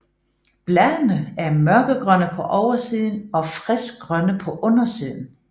Bladene er mørkegrønne på oversiden og friskgrønne på undersiden